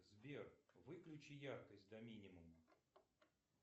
сбер выключи яркость до минимума